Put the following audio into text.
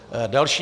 Další.